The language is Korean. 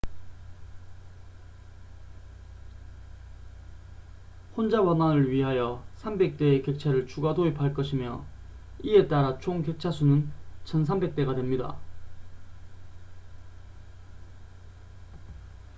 혼잡 완화를 위하여 300대의 객차를 추가 도입할 것이며 이에 따라 총 객차 수는 1,300대가 됩니다